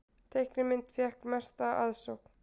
Teiknimynd fékk mesta aðsókn